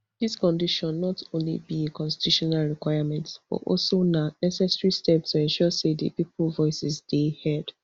dis decision not only be a constitutional requirement but also na necessary step to ensure say di pipo voices dey heard